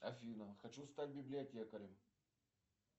афина хочу стать библиотекарем